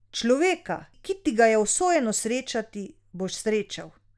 Človeka, ki ti ga je usojeno srečati, boš srečal.